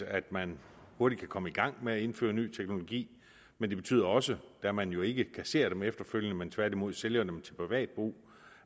at man hurtigt kan komme i gang med at indføre ny teknologi men det betyder også da man jo ikke kasserer dem efterfølgende men tværtimod sælger dem til privat brug